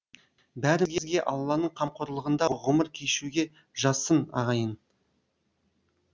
бәрімізге алланың қамқорлығында ғұмыр кешуге жазсын ағайын